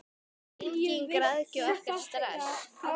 Engin græðgi og ekkert stress!